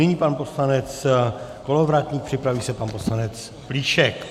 Nyní pan poslanec Kolovratník, připraví se pan poslanec Plíšek.